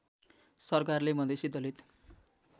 सरकारले मधेसी दलित